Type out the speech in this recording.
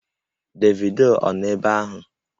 Davido ọ nọ ebe ahụ?